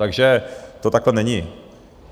Takže to takhle není.